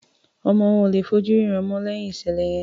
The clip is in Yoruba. Ọmọ wọn ò lè fí ojú rẹ̀ rínràn mọ́ lẹ́yìn ìṣẹ̀lẹ̀ yẹn.